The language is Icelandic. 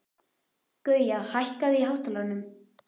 Gauja, hækkaðu í hátalaranum.